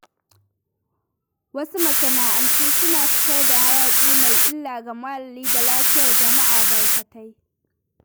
Wasu masana’antu suna fitar da hayaƙi mai illa ga muhalli da lafiyar jama'a barkatai.